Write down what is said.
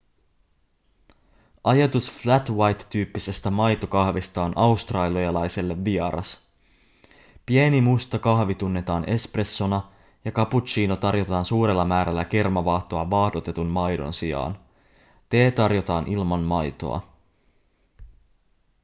ajatus flat white tyyppisestä maitokahvista on australialaisille vieras pieni musta kahvi tunnetaan espressona ja cappuccino tarjotaan suurella määrällä kermavaahtoa vaahdotetun maidon sijaan tee tarjotaan ilman maitoa